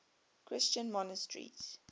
christian monasteries